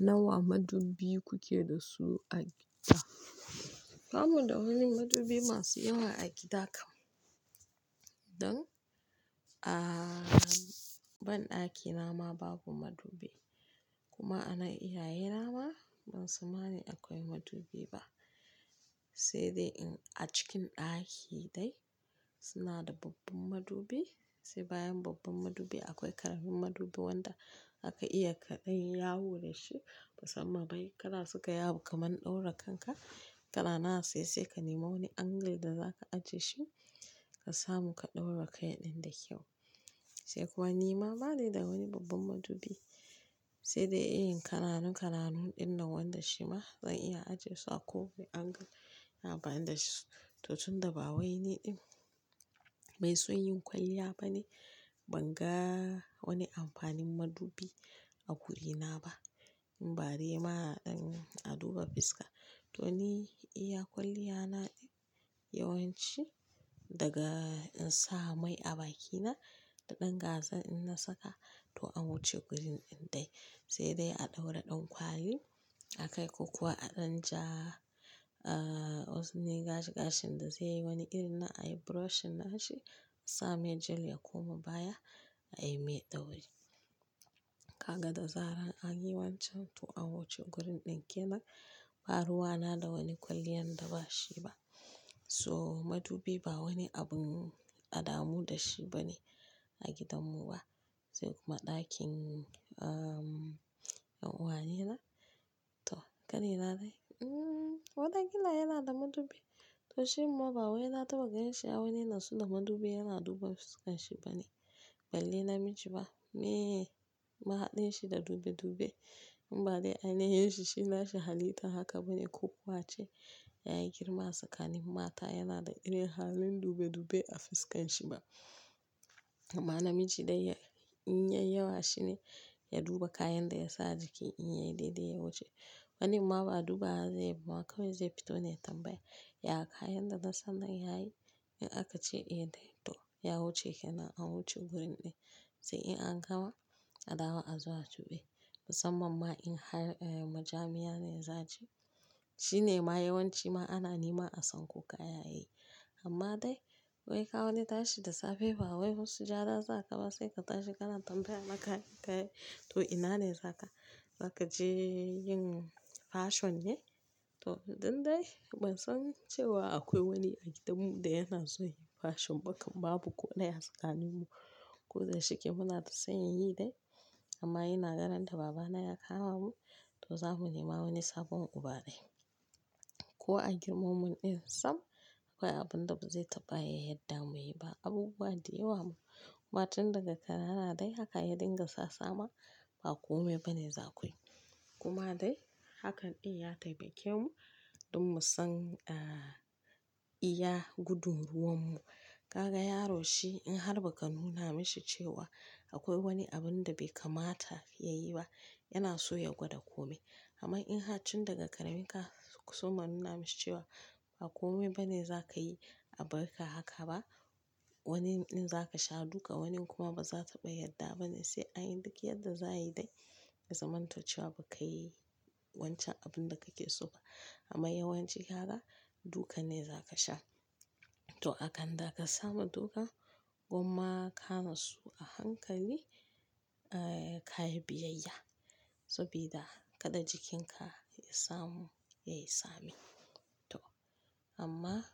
Nawa madubi kuke da su a gida? Ba mu da wani madubi masu yawa a gida kam don a ban ɗakina ma babu madubi kuma a nan iyaye na ma ban san mani akwai madubi ba. Sai dai in a cikin ɗaki dai suna da babban madubi sai bayan babban madubi akwai ƙaramin madubi wanda aka iya kaɗai yawo da shi. Musamman bai kara suka yawo kaman ɗaura kanka. Kanana saisai ka nemi wani angle da zaka ajiye shi ka samu ka ɗaura kai ɗin da kyau. Sai kuwa ni ma bani da wani babban madubi sai dai in yi kananun kananun inda wanda shi ma zan iya ajiye su a ko wane angle ina amfanida shi. To tun da ba wai ni din mai son yin kwalliya bane ban ga wani amfanin madubi a wurina ba. In bare ma in a duba fiska to ni iya kwalliya na yawanci daga in sa mai a bakina da ɗan gazar in na saka to an wuce gurin ɗin dai. Sai dai a ɗaura ɗan kwali akai ko kuwa a dan ja, ah ozoni gashi gashin da zai yi wani irin na ayi brushing nashi sa mai jel ya koma baya ayi mai ɗauri. Kaga da zarar an yi wancan to an wuce gurin ɗin kenan. Ba ruwa na da wani kwaliyan da bashi ba. So madubi ba wani abun adamu da shi bane a gidanmu ba. Sai kuma ɗakin ah yan uwaye na to ƙanina dai, hmm wadaƙila yana da madubi to shin ma ba wai na taɓa gan shi a wani nasu da madubi yana duba fuskan shi bane. Balle namiji ba meye mahaɗin shi da dube dube. In ba dai aniheshi shi nashi halitta haka bane ko kuwa ce yayi girma tsakanin mata yana da irin halin dube dube a fuskan shi ba. Amma namiji dai ya in yayi yawa shine ya duba kayan da ya sa a jiki in yayi daidai ya wuce. Wani ma ba duba bawa zaiba kawai zai fito ne ya tambaya. Ya kayan da zan san nan yayi in aka ce eh dai to ya wuce kenan an wuce gurin ɗin. Sai in an gama a dawo a zo a tuɓe. Musamman ma in har majami'a ne zaci. Shi ne ma yawanci ma ana nema a sanko kaya yayi. Amma dai wai ka wani tashi da safe ba wai husse jara za ka ba sai ka tashi kana tambaya na kayan ka yayi to ina ne za ka, za ka je yin fashion ne? To tun dai ban san cewa akwai wani a gidanmu da yana so ya yi fashion ba kam babu ko ɗaya a tsakanin mu ko da shike muna da san yin yi dai. Amma yana ganin da babana ya kama mu to za mu nema wani sabon uba dai. Ko a girmammun in sam akwai abun da ba zai taɓa yadda muyi ba. Abubuwa diyawa ma. Kuma tun daga kanana dai haka ya dinga sa sama ba komai bane za ku yi. Kuma dai hakan in ya taimake mu don mu san a iya gudun ruwan mu. Kaga yaro shi in har ba ka nuna mashi cewa akwai wani abun da bai kamata ya yi ba yana so ya gwada komai. Amma in har tun daga ƙarami ka so ma nuna mashi cewa ba komai bane za ka yi a bar ka haka ba. Wani in za ka sha duka, wani kuma ba za taɓa yadda bane sai an yi duk yadda za a yi dai. Ya zaman to cewa kukai wancen abun da kake so ba. Amma yawanci gyara duka ne za ka sha. To akan da ka samu duka gwamma ka nasu a hankali ka yi biyayya. Sabida kada jikinka ya samu yayi sami. To amma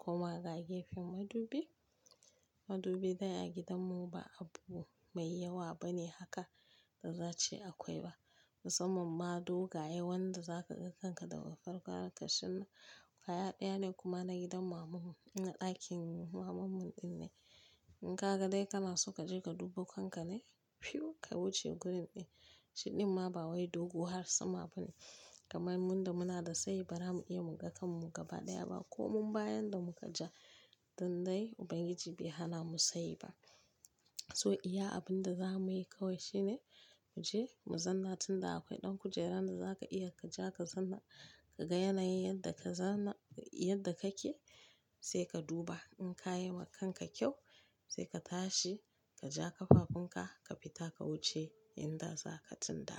kuma ga gefen madubi, madubi dai a gidanmu ba abu mai yawa bane haka da za a ce akwai ba. Musamman ma duka yawan da za ka ga kanka da ƙarƙar ka shin kaya ɗaya ne kuma na gidan mamanmu. Ina ɗakin mamanmu ɗin ne. In ka ga dai kana so ka je ka duba kanka ne? Phew, ka wuce gurin ɗin. Shi ɗin ma ba wai dogu har sama bane. Kamar muda muna da sayi ba zamu iya mu ga kanmu gaba ɗaya ba. Ko mun bayan da muka ja. Tun dai Ubangiji bai hana mu sai ba. So iya abin da za muyi kawai shine mu je mu zanna tun da akwai ɗan kujeran da za ka iya ka ja ka zanna ka ga yanayi yadda ka zanna yadda kake sai ka duba in ka yi wa kanka kyau sai ka tashi ka ja kafafunka ka fita ka wuce inda za ka tsinta.